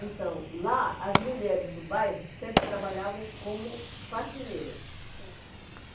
Então, lá, as mulheres do bairro sempre trabalhavam como faxineiras. Certo